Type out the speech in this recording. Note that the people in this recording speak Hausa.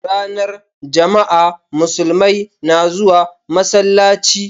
Ranar jama'a, musulmai na zuwa masallaci